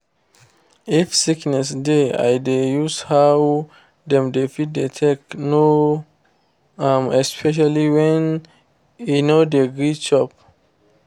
if sickness dey i dey use how dem dey feed dey take know. um especially when e no dey gree chop